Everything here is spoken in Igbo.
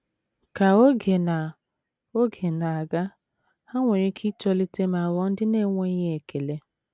Ka oge na oge na - aga, ha nwere ike itolite ma ghọọ ndị na - enweghị ekele.